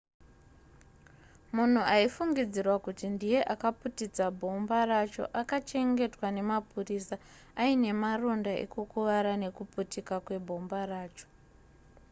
munhu aifungidzirwa kuti ndiye akaputitsa bhomba racho akachengetwa nemapurisa aine maronda ekukuvara nekuputika kwebhomba racho